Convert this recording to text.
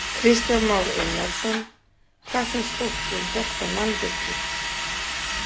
Kristján Már Unnarsson: Hvað finnst fólki um þetta mannvirki?